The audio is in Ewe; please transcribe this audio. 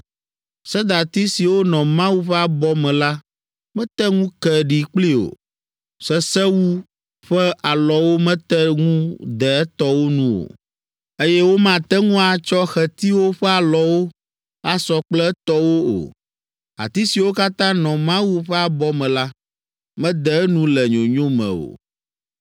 Sedati siwo nɔ Mawu ƒe abɔ me la mete ŋu ke ɖi kplii o, sesewu ƒe alɔwo mete ŋu de etɔwo nu o, eye womate ŋu atsɔ xetiwo ƒe alɔwo asɔ kple etɔwo o. Ati siwo katã nɔ Mawu ƒe abɔ me la, mede enu le nyonyo me o.